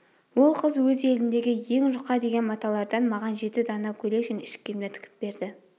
ол қыз өз еліндегі ең жұқа деген маталардан маған жеті дана көйлек және іш киімдер тігіп берді